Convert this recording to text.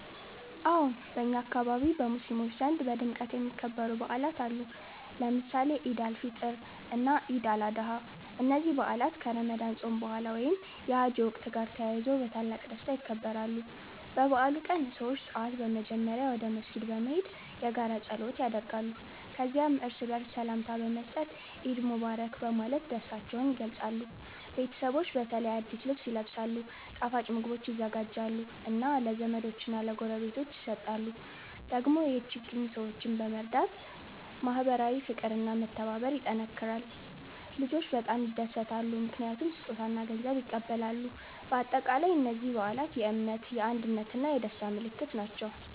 አዎን፣ በእኛ አካባቢ በሙስሊሞች ዘንድ በድምቀት የሚከበሩ በዓላት አሉ፣ ለምሳሌ ኢድ አል-ፊጥር እና ኢድ አል-አድሃ። እነዚህ በዓላት ከረመዳን ጾም በኋላ ወይም የሐጅ ወቅት ጋር ተያይዞ በታላቅ ደስታ ይከበራሉ። በበዓሉ ቀን ሰዎች ጠዋት በመጀመሪያ ወደ መስጊድ በመሄድ የጋራ ጸሎት ያደርጋሉ። ከዚያም እርስ በርስ ሰላምታ በመስጠት “ኢድ ሙባረክ” በማለት ደስታቸውን ይገልጻሉ። ቤተሰቦች በተለይ አዲስ ልብስ ይለብሳሉ፣ ጣፋጭ ምግቦች ይዘጋጃሉ እና ለዘመዶች እና ለጎረቤቶች ይሰጣሉ። ደግሞ የችግኝ ሰዎችን በመርዳት ማህበራዊ ፍቅር እና መተባበር ይጠናከራል። ልጆች በጣም ይደሰታሉ ምክንያቱም ስጦታ እና ገንዘብ ይቀበላሉ። በአጠቃላይ እነዚህ በዓላት የእምነት፣ የአንድነት እና የደስታ ምልክት ናቸው።